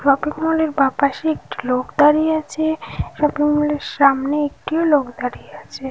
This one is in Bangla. শপিং মল এর বাঁ পাশে একটি লোক দাঁড়িয়ে আছে। শপিং মল এর সামনে একটি ও লোক দাঁড়িয়ে আছে।